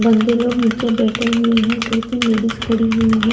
मंदिर में नीचे बैठे हुए है दो तीन लेडीज खड़ी हुई है।